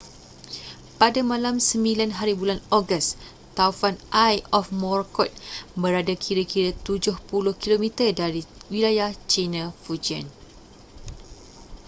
pada malam 9hb ogos taufan eye of morakot berada kira-kira tujuh puluh kilometer dari wilayah china fujian